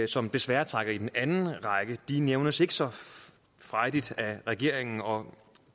som desværre trækker i den anden retning nævnes ikke så frejdigt af regeringen og